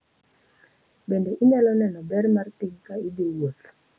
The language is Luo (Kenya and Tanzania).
Bende inyalo neno ber mar piny ka idhi wuoth.